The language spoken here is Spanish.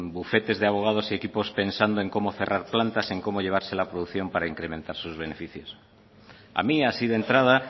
bufetes de abogados y equipos pensando en cómo cerrar plantas en cómo llevarse la producción para incrementar sus beneficios a mí así de entrada